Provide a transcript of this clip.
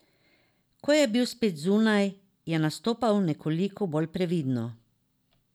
Ko je bil spet zunaj, je nastopal nekoliko bolj previdno.